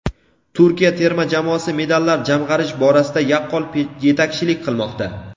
Turkiya terma jamoasi medallar jamg‘arish borasida yaqqol yetakchilik qilmoqda.